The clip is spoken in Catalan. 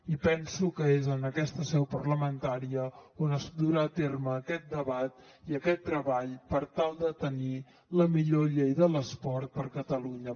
i penso que és en aquesta seu parlamentària on es durà a terme aquest debat i aquest treball per tal de tenir la millor llei de l’esport per a catalunya